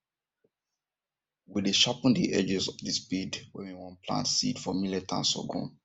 we dey sharpen the edges of the spade when we won plant seeds for millet and sorghum